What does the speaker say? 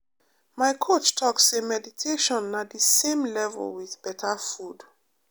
my coach talk say meditation na the same level with better food.